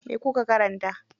Me kuka karanta?